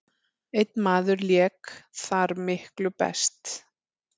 Einn maður lék þar miklu best.